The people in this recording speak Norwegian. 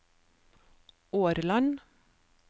Årland